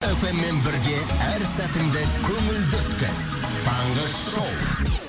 фммен бірге әр сәтіңді көңілді өткіз таңғы шоу